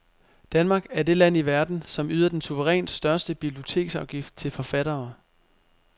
Danmark er det land i verden, som yder den suverænt største biblioteksafgift til forfattere.